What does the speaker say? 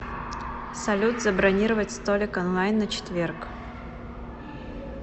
салют забронировать столик онлайн на четверг